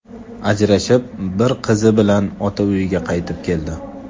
Ajrashib, bir qizi bilan ota uyiga qaytib keldi.